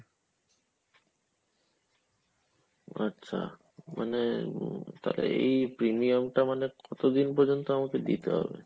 আচ্ছা, মানে এই premium টা মানে কতদিন পর্যন্ত আমাকে দিতে হবে